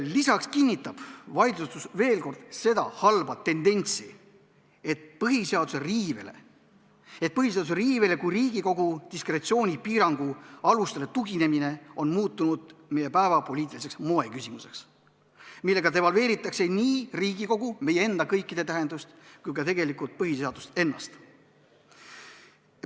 Lisaks kinnitab vaidlustus veel kord seda halba tendentsi, et põhiseaduse riivele kui Riigikogu diskretsiooni piirangu alusele tuginemine on muutunud meie päevapoliitiliseks moeküsimuseks, millega devalveeritakse nii Riigikogu tähtsust kui ka tegelikult põhiseadust ennast.